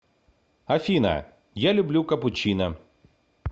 афина я люблю капучино